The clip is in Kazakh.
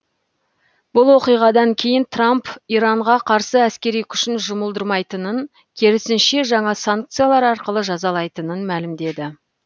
бұл оқиғадан кейін трамп иранға қарсы әскери күшін жұмылдырмайтынын керісінше жаңа санкциялар арқылы жазалайтынын мәлімдеді